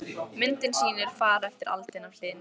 Myndin sýnir far eftir aldin af hlyni.